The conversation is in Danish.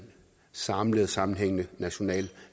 samlet sammenhængende national